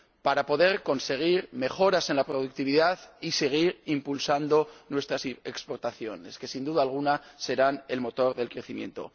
a fin de poder conseguir mejoras en la productividad y seguir impulsando nuestras exportaciones que, sin duda alguna, serán el motor del crecimiento.